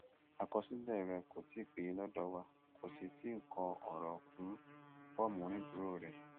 àkọsílẹ rẹ kò tí ì péye lọdọ wa kò sì tí ì kọ ọrọ kún fọọmù onídùúró rẹ